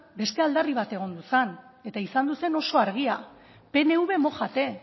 beste aldarri bat egon zen eta izan zen oso argia pnv mójate